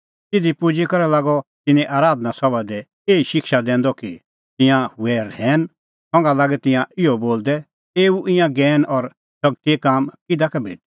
तिधी पुजी करै लागअ तिन्नें आराधना सभा दी एही शिक्षा दैंदअ कि तिंयां हुऐ रहैन संघा लागै तिंयां इहअ बोलदै एऊ ईंयां ज्ञैन और शगतीए काम किधा का भेटै